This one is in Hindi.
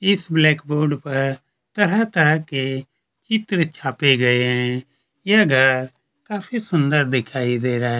इस ब्लैक बोर्ड पर तरह - तरह के चित्र छापे गए है यह घर काफी सुंदर दिखाई दे रहा है।